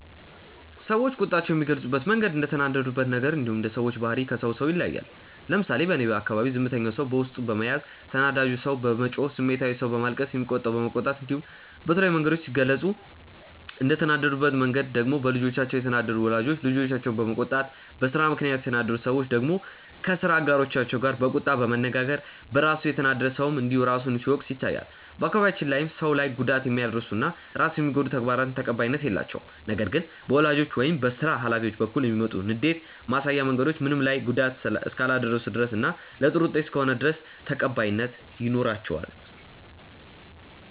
ሰዎች ቁጣቸውን የሚገልጹበት መንገድ እንደተናደዱበት ነገር እንዲሁም እንደ ሰዎቹ ባህሪ ከሰው ሰው ይለያያል። ለምሳሌ በእኔ አካባቢ ዝምተኛው ሰው በውስጡ በመያዝ፣ ተናዳጁ ሰው በመጮህ፣ ስሜታዊው ሰው በማልቀስ፣ የሚቆጣው በመቆጣት እንዲሁም በተለያዩ መንገዶች ሲገልጹ፤ እንደተናደዱበት መንገድ ደግሞ በልጆቻቸው የተናደዱ ወላጆች ልጆቻቸውን በመቆጣት፣ በስራ ምክንያት የተናደዱ ሰዎች ደግሞ ከስራ አጋሮቻቸው ጋር በቁጣ በመነጋገር፣ በራሱ የተናደደ ሰውም እንዲሁ ራሱን ሲወቅስ ይታያል። በአካባቢያችን ላይም ሰው ላይ ጉዳት የሚያደርሱ እና ራስን የሚጎዱ ተግባራት ተቀባይነት የላቸውም። ነገር ግን በወላጆች ወይም በስራ ሀላፊዎች በኩል የሚመጡ ንዴት ማሳያ መንገዶች ምንም ላይ ጉዳት እስካላደረሱ ድረስ እና ለጥሩ ውጤት እስከሆነ ድረስ ተቀባይነት ይኖራቸዋል።